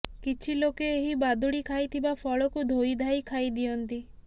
କିଛି ଲୋକେ ଏହି ବାଦୁଡି ଖାଇଥିବା ଫଳକୁ ଧୋଇଧାଇ ଖାଇଦିଅନ୍ତି